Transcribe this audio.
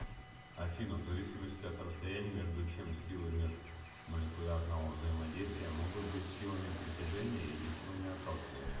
афина в зависимости от расстояния между чем силы межмолекулярного взаимодействия могут быть силами притяжения или силами отталкивания